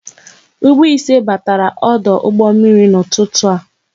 Ụgbọ ise batara ọdụ ụgbọ mmiri n'ụtụtụ a